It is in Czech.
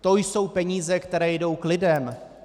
To jsou peníze, které jdou k lidem.